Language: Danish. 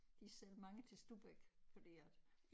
De sælger mange til Stubbæk fordi at